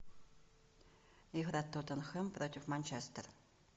игра тоттенхэм против манчестер